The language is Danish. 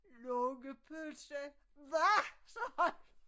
Lungepølse hvad sagde han